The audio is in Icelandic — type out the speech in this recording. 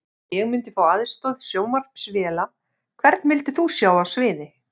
Ég myndi fá aðstoð sjónvarpsvéla Hvern vildir þú sjá á sviði?